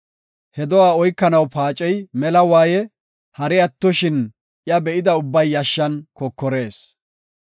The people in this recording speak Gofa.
He do7aa oykanaw paacey mela waaye; hari attoshin iya be7ida ubbay yashshan kokorees.